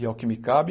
E ao que me cabe,